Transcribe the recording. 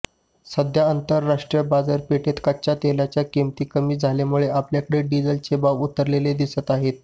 सध्या आंतरराष्ट्रीय बाजारपेठेत कच्च्या तेलाच्या किमती कमी झाल्यामुळे आपल्याकडे डिझेलचे भाव उतरलेले दिसत आहेत